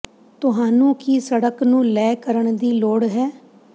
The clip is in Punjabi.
ਤੁਹਾਨੂੰ ਕੀ ਸੜਕ ਨੂੰ ਲੈ ਕਰਨ ਦੀ ਲੋੜ ਹੈ